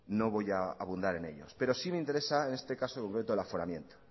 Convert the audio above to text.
no voy a abundar en ellos pero sí me interesa en este caso concreto el aforamiento